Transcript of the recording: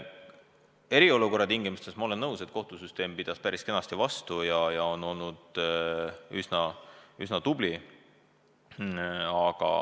Eriolukorra tingimustes, ma olen nõus, kohtusüsteem pidas päris kenasti vastu ja on olnud üsna tubli.